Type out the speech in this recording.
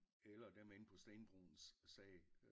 Eller dem inde på stenbroens sag